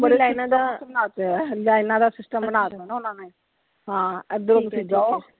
Lines ਦਾ ਹੈ lines ਦਾ system ਬਣਾਤਾ ਹੈ ਨਾ ਓਹਨਾ ਨੇ, ਹਾਂ ਇਧਰੋਂ ਤੁਸੀਂ ਜਾਓ,